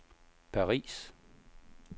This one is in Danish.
Paris